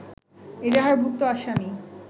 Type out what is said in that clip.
এজাহারভুক্ত আসামি